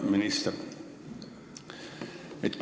Hea minister!